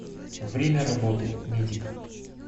время работы медик